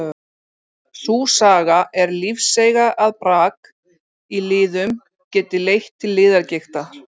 Sú saga er lífseiga að brak í liðum geti leitt til liðagigtar.